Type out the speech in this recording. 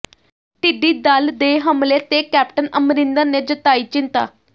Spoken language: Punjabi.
ਟਿੱਡੀ ਦਲ ਦੇ ਹਮਲੇ ਤੇ ਕੈਪਟਨ ਅਮਰਿੰਦਰ ਨੇ ਜਤਾਈ ਚਿੰਤਾ